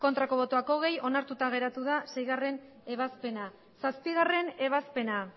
bai hogei ez onartuta geratu da seiebazpena zazpiebazpena